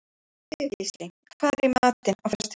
Sigurgísli, hvað er í matinn á föstudaginn?